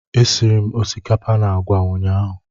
Esiri m osikapa na agwa ụnyahụ